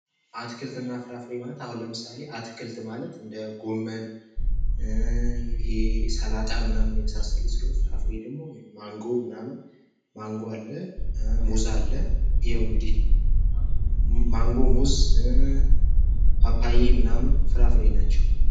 አትክልትና ፍራፍሬ ማለት አሁን ለምሳሌ እንደ ጎመን ሰላጣ ምናምን የመሳሰሉት ፍራፍሬ ደግሞ ማንጎ ፥ሙዝ ፥ ፓፓየ ምናምን ፍራፍሬ ናቸው።